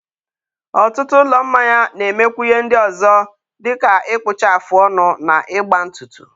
ọtụtụ ụlọ mmanya na-emekwa ihe ndị ọzọ dịka ịkpụcha afụ ọnụ na ịgba ntụtụ.